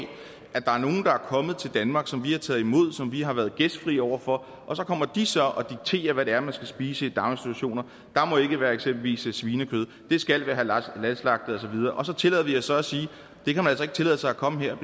at der er nogle der er kommet til danmark som vi har taget imod som vi har været gæstfrie over for og så kommer de så og dikterer hvad det er man skal spise i daginstitutioner der må ikke være eksempelvis svinekød det skal være halalslagtet og så videre så tillader vi os så at sige at ikke tillade sig at komme her